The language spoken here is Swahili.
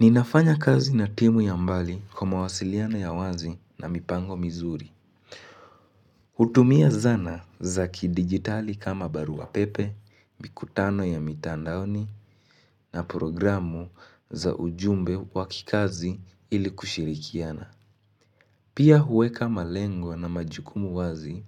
Ninafanya kazi na timu ya mbali kwa ma wasiliano ya wazi na mipango mizuri. Hutumia zana za kidigitali kama barua pepe, mikutano ya mitandaoni na programu za ujumbe wakikazi ili kushirikiana. Pia huweka malengwa na majukumu wazi